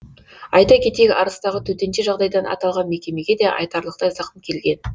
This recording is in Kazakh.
айта кетейік арыстағы төтенше жағдайдан аталған мекемеге де айтарлықтай зақым келген